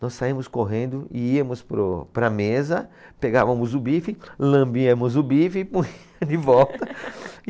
Nós saímos correndo e íamos para o, para a mesa, pegávamos o bife, lambíamos o bife e, punha de volta